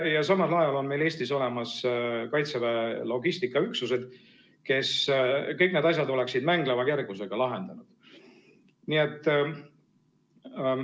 Ja samal ajal on meil Eestis olemas Kaitseväe logistikaüksused, kes kõik need asjad oleksid mängleva kergusega lahendanud.